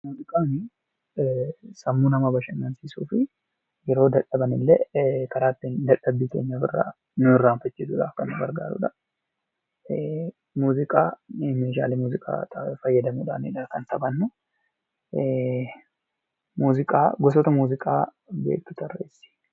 Muuziqaan sammuu namaa bashannansiisuufi kan yeroo dadhaban illee karaa ittiin dadhabbii keenya ofirra nu irraanfachiisuudhaaf nu gargaarudha. Muuziqaa meeshaalee muuziqaa fayyadamuunidha kan taphannu. Muuziqaa gosoota muuziqaa beektu tarreessi.